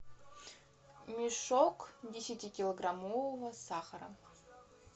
мешок десятикилограммового сахара